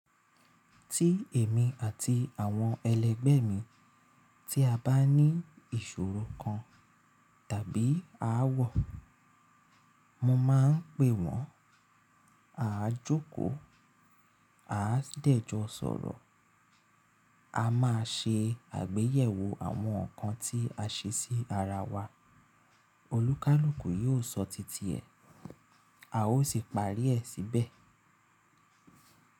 Tí èmi àti àwọn ẹlẹgbẹ mi tí a bá ní ìṣòro kan tàbí aáwọ̀, mo máa ń pe wọn, a á jókòó, a á dẹ̀jọ sọ̀rọ̀, a máa ṣe àgbéyẹ̀wò àwọn nǹkan tí a ṣe sí ara wa, olúkalùkù yóò sọ titi ẹ̀, a ó sì parí ẹ̀ síbẹ̀.